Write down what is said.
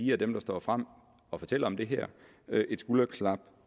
dem der står frem og fortæller om det her et skulderklap